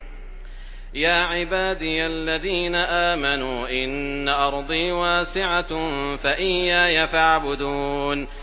يَا عِبَادِيَ الَّذِينَ آمَنُوا إِنَّ أَرْضِي وَاسِعَةٌ فَإِيَّايَ فَاعْبُدُونِ